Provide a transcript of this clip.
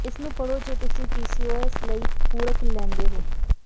ਇਸ ਨੂੰ ਪੜ੍ਹੋ ਜੇ ਤੁਸੀਂ ਪੀਸੀਓਐਸ ਲਈ ਪੂਰਕ ਲੈਂਦੇ ਹੋ